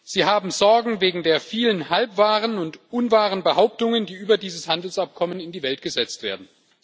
Sie haben Sorgen wegen der vielen halbwahren und unwahren Behauptungen, die über dieses Handelsabkommen in die Welt gesetzt werden.